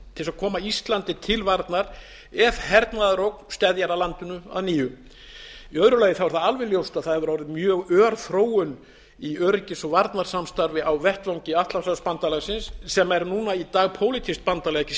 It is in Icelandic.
til þess að koma íslandi til varnar ef hernaðarógn steðjar að landinu að nýju í öðru lagi er það alveg ljóst að það hefur orðið mjög ör þróun í öryggis og varnarsamstarfi á vettvangi atlantshafsbandalagsins sem er núna í dag pólitískt bandalag ekki